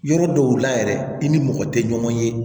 Yɔrɔ dɔw la yɛrɛ i ni mɔgɔ tɛ ɲɔgɔn ye